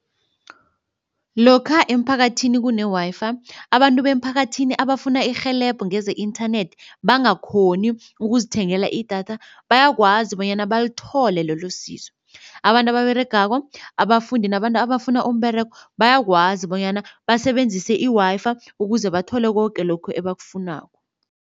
Lokha emphakathini kune-Wi-Fi abantu bemphakathini abafuna irhelebho ngeze-internet bangakghoni ukuzithengela idatha bayakwazi bonyana balithole lelosizo. Abantu ababeregako, abafundi nabantu abafuna umberego bayakwazi bonyana basebenzise i-Wi-Fi ukuze bathole koke lokhu ebakufunako.